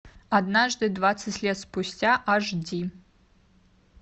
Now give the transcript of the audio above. однажды двадцать лет спустя аш ди